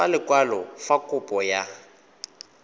ka lekwalo fa kopo ya